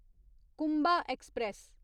Kumbha express